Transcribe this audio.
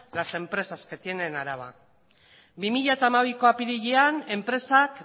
las empresas que tiene en álava bi mila hamabiko apirilean enpresak